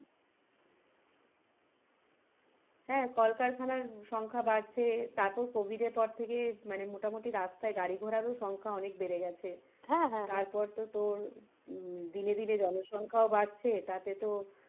হ্যাঁ কলকারখানার সংখ্যা বাড়ছে তারপর covid এর পর থেকে মোটামটি রাস্তায় গাড়ি ঘোড়ার ও সংখ্যা অনেক বেড়ে গেছে তারপর তো তোর উম দিনে দিনে জনসংখ্যা ও বাড়ছে তাতে তোর,